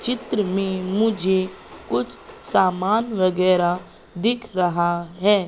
चित्र में मुझे कुछ सामान वगैरा दिख रहा है।